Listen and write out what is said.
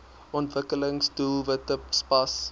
ontwikkelings doelwitte spas